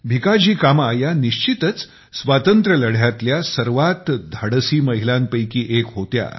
भिकाजी कामा या निश्चितच स्वातंत्र्यलढ्यातल्या सर्वात धाडसी महिलांपैकी एक होत्या